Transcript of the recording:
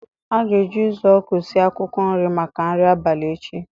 A ga-eji uzuoku sie akwụkwọ nri maka nri abalị echi